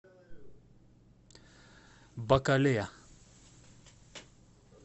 бакале